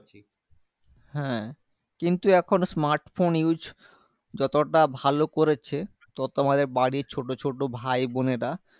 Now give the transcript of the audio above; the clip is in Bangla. হ্যাঁ কিন্তু এখন smart phone use যতটা ভালো করেছে ততো আমাদের বাড়ির ছোট ছোট ভাই বোনেরা